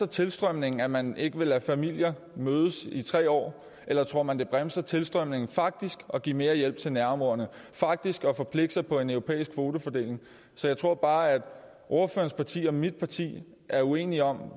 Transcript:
tilstrømningen at man ikke vil lade familier mødes i tre år eller tror man det bremser tilstrømningen faktisk at give mere hjælp til nærområderne faktisk at forpligte sig på en europæisk kvotefordeling jeg tror bare at ordførerens parti og mit parti er uenige om